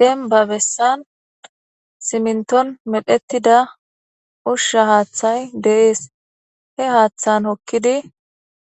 Denba bessan siminton medhettida ushsha haaththay deees he haaththan hokkidi